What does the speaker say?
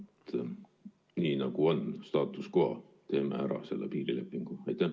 Et on nii, nagu on, status quo, teeme ära selle piirilepingu?